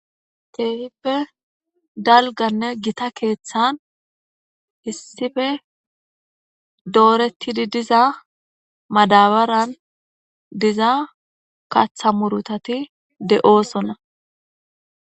Keefippe dalganne gita keeththan hissife doorettidi diza madabaran diza katha murutati de'oosona